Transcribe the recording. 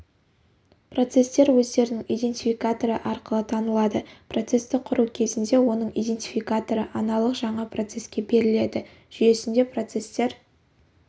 процестер өздерінің идентификаторы арқылы танылады процесті құру кезінде оның идентификаторы аналық жаңа процеске беріледі жүйесінде процестер